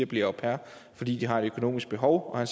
bliver au pairer fordi de har et økonomisk behov og